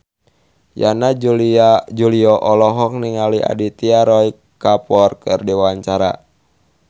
Yana Julio olohok ningali Aditya Roy Kapoor keur diwawancara